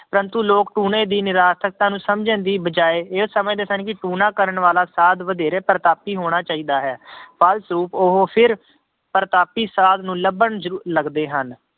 ਪ੍ਰੰਤੂ ਲੋਕ ਟੂਣੇ ਦੀ ਨਿਰਾਰਥਕਤਾ ਨੂੰ ਸਮਝਣ ਦੀ ਬਜਾਏ ਇਹ ਸਮਝਦੇ ਸਨ ਕਿ ਟੂਣਾ ਕਰਨ ਵਾਲਾ ਸਾਧ ਵਧੇਰੇ ਪ੍ਰਤਾਪੀ ਹੋਣਾ ਚਾਹੀਦਾ ਹੈ ਫਲਸਰੂਪ ਉਹ ਫਿਰ ਪ੍ਰਤਾਪੀ ਸਾਧ ਨੂੰ ਲੱਭਣ ਜ ਲੱਗਦੇ ਹਨ।